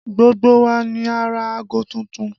Gbogbo wa ni a rà ago tuntun